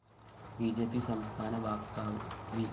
B J P സംസ്ഥാന വക്താവ് V